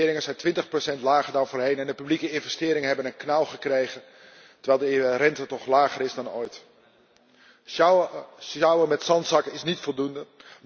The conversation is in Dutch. De investeringen zijn 20 lager dan voorheen en de publieke investeringen hebben een knauw gekregen terwijl de rente toch lager is dan ooit. Sjouwen met zandzakken is niet voldoende.